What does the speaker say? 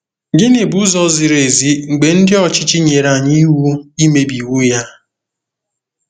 Gịnị bụ ụzọ ziri ezi mgbe ndị ọchịchị nyere anyị iwu imebi iwu ya?